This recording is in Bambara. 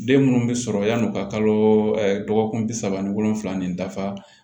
Den minnu bɛ sɔrɔ yann'u ka kalo dɔgɔkun bi saba ni wolonwula ni dafa